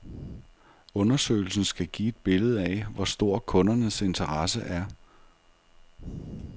Undersøgelsen skal give et billede af, hvor stor kundernes interesse er.